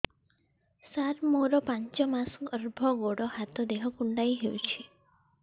ସାର ମୋର ପାଞ୍ଚ ମାସ ଗର୍ଭ ଗୋଡ ହାତ ଦେହ କୁଣ୍ଡେଇ ହେଉଛି